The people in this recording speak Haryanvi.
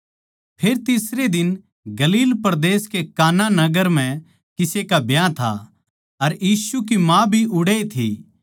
फेर तीसरै दिन गलील परदेस कै काना नगर म्ह किसे का ब्याह था अर यीशु की माँ भी ओड़ैए थी